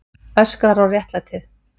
Öskrar á réttlætið.